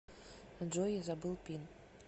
джой я забыл пин